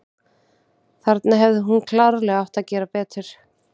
Þarna hefði hún klárlega átt að gera betur.